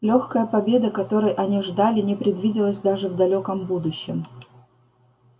лёгкая победа которой они ждали не предвиделась даже в далёком будущем